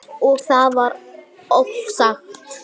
Og það er vart ofsagt.